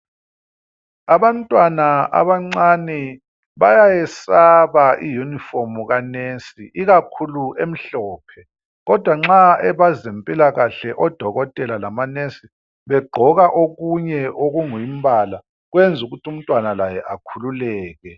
Abantwana abancane bayayesaba i uniform kanurse ikakhulu emhlophe, kodwa nxa abezempilakahle odokotela lamanurse begqoka okunye okungumbala kwenzukuthi umntwana laye akhululeke.